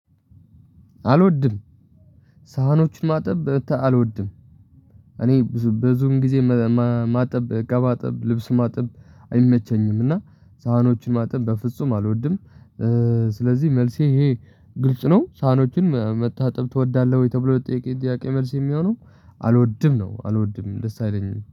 አልወድም። ሳህኖችን ማጠብ አልወድም። እኔ ብዙ ብዙም ጊዜ ማጠብ እቃ ማጠብ ልብስ ማጠብ አይመቸኝም። እና ሳህኖችን ማጠብ በፍጹም አልወድም። ስለዚህ መልሴ ይሄ ግልጽ ነው። ሳኖችን መታጠብ ትወዳለህ ወይ? ተብሎ ለተጠየቀኝ ጥያቄ መልስ የሚሆነው አልወድም ነው። አልወድም ደስ አይለኝም